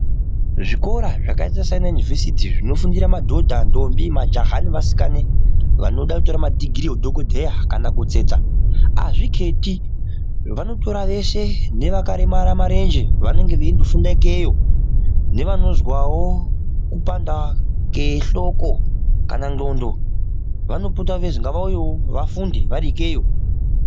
Zvikora zvakaita sana yunivhesiti zvinofundira madhodha ndombi majaha nevasika nakuti vatore madigiri emadhokodheya kana kutsetsa hazviketi vanotora veshe nevakaremara marenje vanenge veindo funda ikeyo nevanozwawo kupanda kwe hloko kana ndxondo vanopota vachizi ngavafundewo vari ikweyo.